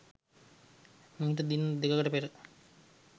මීට දින දෙකකට පෙර